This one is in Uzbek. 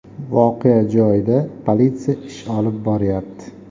Voqea joyida politsiya ish olib boryapti.